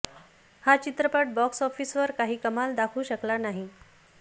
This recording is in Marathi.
हा चित्रपट बॉक्स ऑफिसवर काही कमाल दाखवू शकला नाही